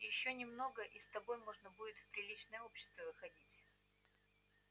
ещё немного и с тобой можно будет в приличное общество выходить